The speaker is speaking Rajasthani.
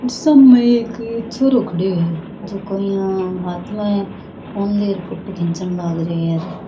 सामे एक छोरो खड़यो है जको यहां हाथ में फ़ोन लेर फोटो खिचन लाग रियो है।